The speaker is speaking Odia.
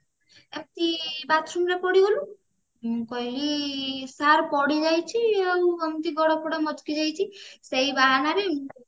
ଏମିତି bathroom ରେ ପଡିଗଲୁ ମୁଁ କହିଲି sir ପଡିଯାଇଛି ଆଉ ଏମିତି ଗୋଡ ଫୋଡୋ ମଚକି ଯାଇଛି ସେଇ ବାହାନରେ